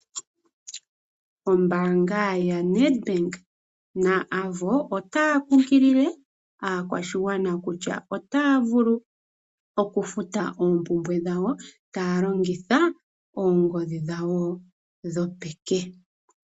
Ombaanga ya Nedbank na Avo otaya kunkilile aakwashigwana kutya otaya vulu okufuta oompumbwe dhawo taya longitha oongodhi dhawo dhopeke.